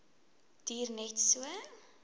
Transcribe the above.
duur net so